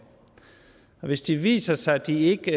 hvis det viser sig at de ikke